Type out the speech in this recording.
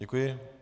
Děkuji.